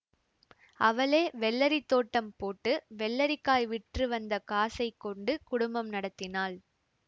அவளே வெள்ளரித் தோட்டம் போட்டு வெள்ளரிக்காய் விற்று வந்த காசைக் கொண்டு குடும்பம் நடத்தினாள்